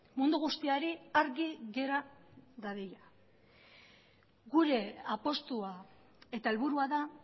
mundu guztiari argi gera dadila gure apustua eta helburua da